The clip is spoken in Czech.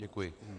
Děkuji.